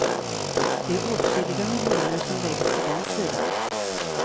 Det är åtskilliga miljoner som läggs på den sidan.